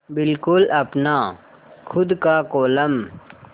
बिल्कुल अपना खु़द का कोलम